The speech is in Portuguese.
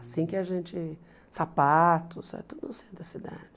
Assim que a gente... sapatos, tudo no centro da cidade.